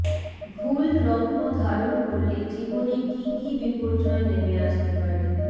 ভুল রত্ন ধারণ করলে জীবনে কী কী বিপর্যয় নেমে আসতে পারে